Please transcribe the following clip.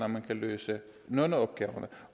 man kan løse nogle af opgaverne